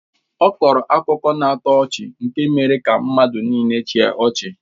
Ọ kọọrọ akụkọ na-atọ ọchị nke mere ka mmadụ nịịle chịa ọchị.